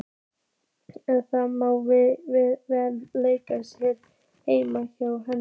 En það má varla leika sér heima hjá henni.